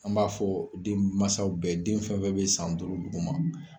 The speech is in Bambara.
An b'a fɔ den masaw bɛɛ ye den fɛn fɛn bɛ san duuru dugu ma.